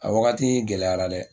A wagati gɛlɛyara dɛ